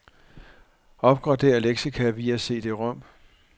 Opgradér leksika via cd-rom.